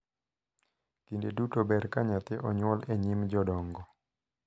Kinde duto ber ka nyathi onyuol e nyim jodongo